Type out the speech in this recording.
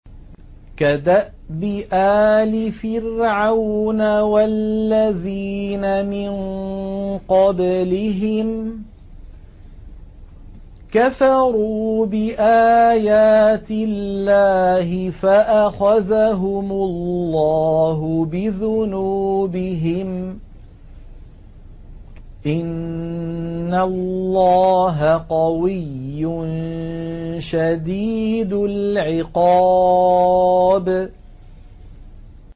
كَدَأْبِ آلِ فِرْعَوْنَ ۙ وَالَّذِينَ مِن قَبْلِهِمْ ۚ كَفَرُوا بِآيَاتِ اللَّهِ فَأَخَذَهُمُ اللَّهُ بِذُنُوبِهِمْ ۗ إِنَّ اللَّهَ قَوِيٌّ شَدِيدُ الْعِقَابِ